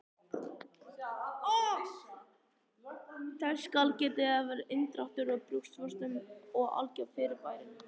Þess skal getið að inndráttur í brjóstvörtum er algengt fyrirbæri.